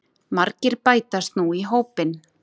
Margir bætast nú í hópinn